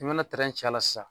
I mana ci a la sisan